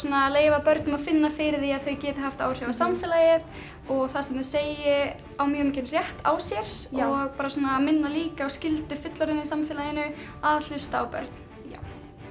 að leyfa börnum að finna fyrir því að þau geti haft áhrif á samfélagið og það sem þau segi eigi mjög mikinn rétt á sér og minna líka á skyldu fullorðinna í samfélaginu að hlusta á börn já